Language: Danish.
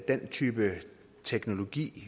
den type teknologi